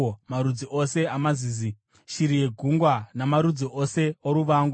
marudzi ose amazizi, shiri yegungwa namarudzi ose oruvangu,